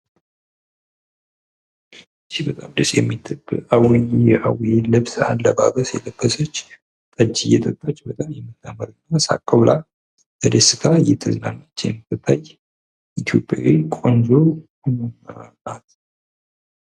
ይች በጣም የምታምር አዊ አካባቢ ያሉ ልብስ የለበሰ ቆንጅዬ ልጅ በጣም የምታምር ሳቅ ብላ በደስታ እየተዝናናች የምትገኝ ኢትዮጵያዊት ቆንጆ ናት።